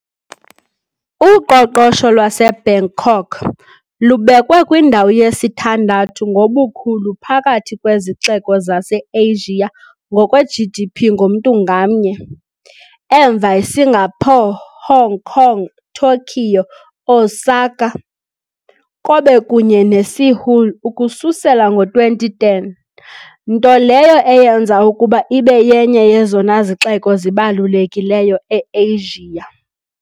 Uqoqosho lwaseBangkok lubekwe kwindawo yesithandathu ngobukhulu phakathi kwezixeko zaseAsia ngokwe- GDP ngomntu ngamnye, emva Singapore, Hong Kong, Tokyo, Osaka - Kobe kunye neSeoul ukususela ngo-2010, nto leyo eyenza ukuba ibe yenye yezona zixeko zibalulekileyo e-Asia.